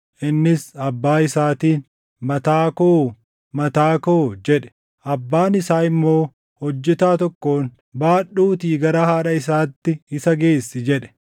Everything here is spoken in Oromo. Innis abbaa isaatiin, “Mataa koo! Mataa koo!” jedhe. Abbaan isaa immoo hojjetaa tokkoon, “Baadhuutii gara haadha isaatti isa geessi” jedhe.